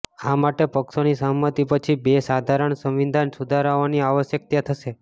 આ માટે પક્ષોની સહમતિ પછી બે સાધારણ સંવિધાન સુધારાઓની આવશ્યકતા થશે